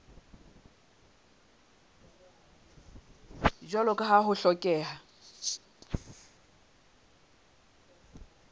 jwalo ka ha ho hlokeha